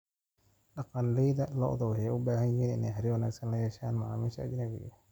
Dhaqanleyda lo'du waxay u baahan yihiin inay xiriir wanaagsan la yeeshaan macaamiisha ajnabiga ah.